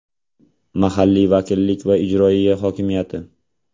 Mahalliy vakillik va ijroiya hokimiyati).